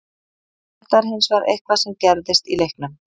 Þetta er hins vegar eitthvað sem gerðist í leiknum.